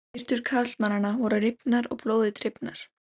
Skyrtur karlmannanna voru rifnar og blóði drifnar.